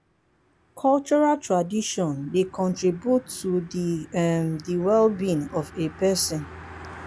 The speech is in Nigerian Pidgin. cultural tradition dey contribute to um di wellbeing of a person